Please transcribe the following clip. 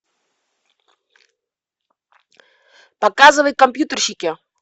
показывай компьютерщики